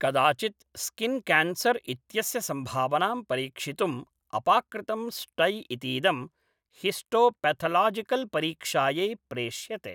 कदाचित् स्किन्केन्सर् इत्यस्य सम्भावनां परीक्षितुम् अपाकृतं स्टै इतीदं हिस्टोपेथोलोजिकल् परीक्षायै प्रेष्यते।